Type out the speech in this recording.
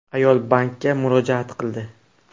Ayol bankka murojaat qildi.